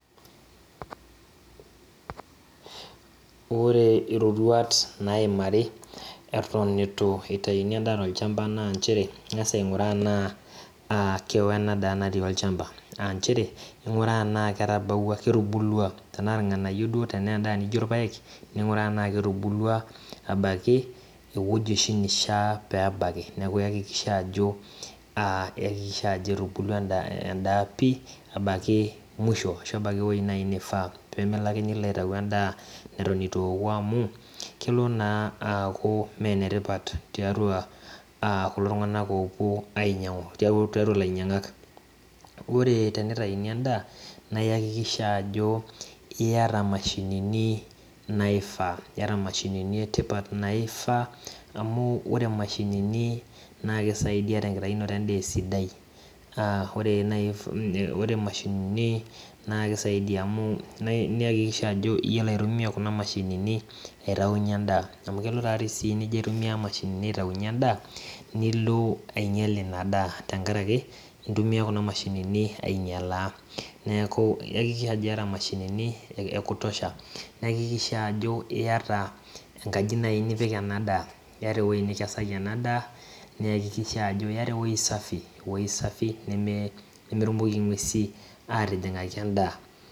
Ore iroruat naimari eton etu itayuni edaa tolchamba naa ichere kangas aiguraa enaa keo enadaa natii olchamba tenaa ilnganyio ning'uraa enaa ketubulua abaiki eweji oshi nishaa pee ebaki eweji ,oshi nifaa peee milo ake atayu edaa netu eku amu, kelo naaku ime enetipat tiatua ilanyiangak iyakikisha ajo iyata imashinini naifaa, amu kisaidia tekitayunoto edaa esidai, niyakikisha ajo iyiolo aitumiya kuna mashinini, aitayunyie edaa amu kelo nijio aitumiya imashinini ataunyie edaa nilo anyial ina daa neeku iyakikisha ajo iyata enkaji nipik nemenyikaki ing'uesi.